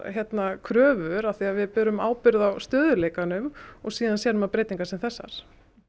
kröfur af því að við berum ábyrgð á stöðugleikanum og svo sér maður breytingar sem þessar